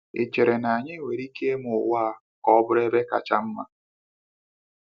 Ị́ chere na anyị nwere ike ime ụwa a ka ọ bụrụ ebe kacha mma?